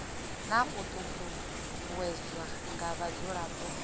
na u ṱuṱuwedzwa nga vhadzulapo